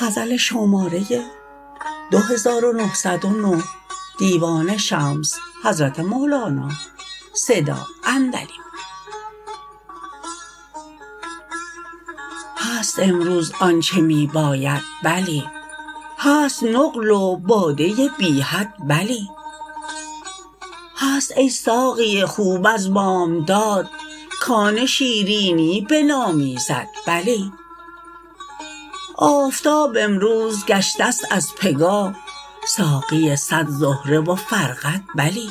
هست امروز آنچ می باید بلی هست نقل و باده بی حد بلی هست ای ساقی خوب از بامداد کان شیرینی بنامیزد بلی آفتاب امروز گشته ست از پگاه ساقی صد زهره و فرقد بلی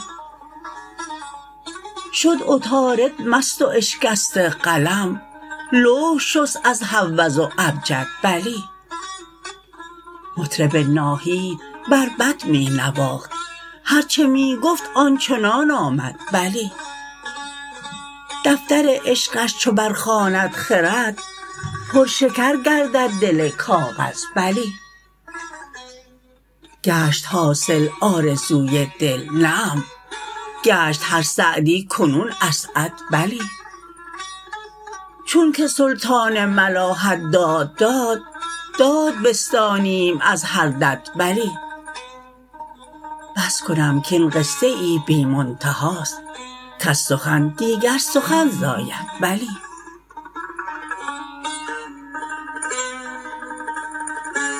شد عطارد مست و اشکسته قلم لوح شست از هوز و ابجد بلی مطرب ناهید بربط می نواخت هر چه می گفت آن چنان آمد بلی دفتر عشقش چو برخواند خرد پرشکر گردد دل کاغذ بلی گشت حاصل آرزوی دل نعم گشت هر سعدی کنون اسعد بلی چونک سلطان ملاحت داد داد داد بستانیم از هر دد بلی بس کنم کاین قصه ای بی منتهاست کز سخن دیگر سخن زاید بلی